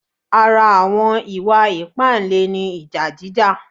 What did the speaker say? Ara àwọn ìwà ìpáǹle ni ìjà jíjà